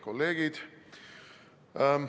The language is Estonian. Kolleegid!